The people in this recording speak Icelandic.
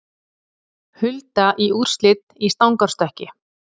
Hulda í úrslit í stangarstökki